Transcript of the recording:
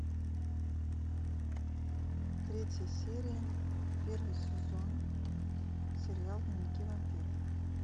третья серия первый сезон сериал дневники вампира